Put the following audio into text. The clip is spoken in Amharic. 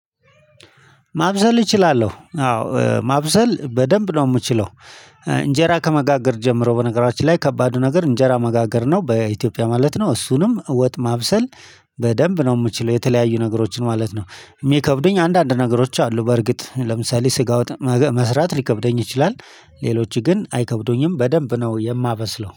ማብሰል እችላለሁ አዎ ማብሰል በደንብ ነው የምችለው። እንጀራ ከመጋገር ጀምሮ በነገራችን ላይ ከባዱ ነገር እንጀራ መጋገር ነው በኢትዮጵያ ማለት ነው። እሱንም ወጥ ማብሰል በደንብ ነው የምችለው። የተለያዩ ነገሮችን ማለት ነው የሚከብደኝ አንዳንድ ነገሮች አሉ በርግጥ ለምሳሌ ስጋ ወጥ መስራት ሊከብደኝ ይችላል። ሌሎች ግን አይከብዱኝም በደንብ ነው የማበስለው